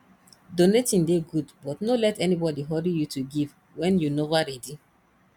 donating dey good but no let anybody hurry you to give wen you nova ready